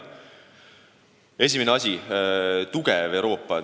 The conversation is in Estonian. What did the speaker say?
Esimene asi: tugev Euroopa.